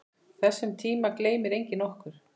Þessum tíma gleymir enginn okkar.